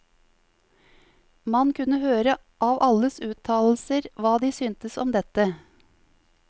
Man kunne høre av alles uttalelser hva de syntes om dette.